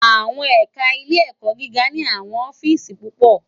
Awòn ẹká Ilé Èkò gigá ni áwòn òfìsí púpò